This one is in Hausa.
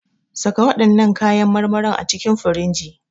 Saka waɗannan kayan marmarin a cikin firinji.